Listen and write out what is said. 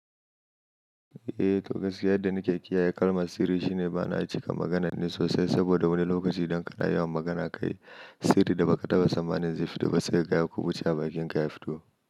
Eh to gaskiya yadda nake kiyaye kalmar sirri shine bana cika maganar ne sosai saboda wani lokaci idan kana yawan magana kai sirrin da ba ka taba tsammani zai fito ba sai kaga ya kuɓuce a bakin ka ya fito.